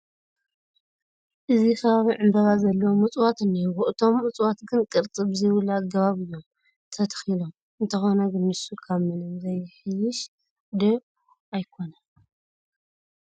እዚ ከባቢ ዕምበባ ዘለዎም እፅዋት እኔዉዎ፡፡ እቶም እፅዋት ግን ቅርፂ ብዘይብሉ ኣገባብ እዮም ተተኺሎም፡፡ እንተኾነ ግን ንሱ ካብ ምንም ዘሕይሽ ዶ ኣይኮነን?